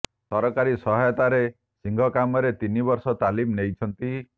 ସରକାରୀ ସହାୟତାରେ ଶିଙ୍ଗ କାମରେ ତିନି ବର୍ଷ ତାଲିମ ନେଇଛନ୍ତି